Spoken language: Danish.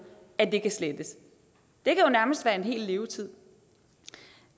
at det kan slettes det kan nærmest være en hel levetid